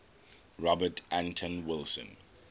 robert anton wilson